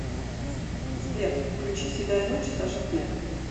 сбер включи седая ночь саша снек